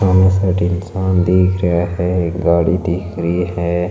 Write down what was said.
दोनों साइड इंसान दिख रहा है गाड़ी दिख रही है।